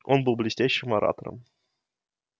он был блестящим оратором